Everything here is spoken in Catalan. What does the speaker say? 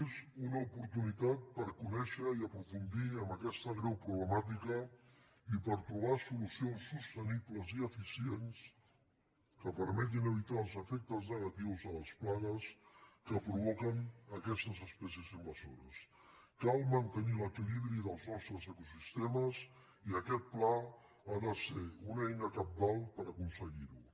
és una oportunitat per conèixer i aprofundir en aquesta greu problemàtica i per trobar solucions sostenibles i eficients que permetin evitar els efectes negatius de les plagues que provoquen aquestes espècies invaso·res cal mantenir l’equilibri dels nostres ecosistemes i aquest pla ha de ser una eina cabdal per aconse·guir·ho